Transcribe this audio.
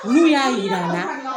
N'u y'a yira n na